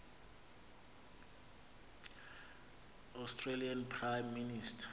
australian prime minister